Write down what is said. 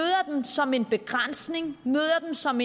dem som en begrænsning møder dem som